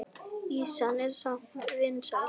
Ýsan er samt vinsæl.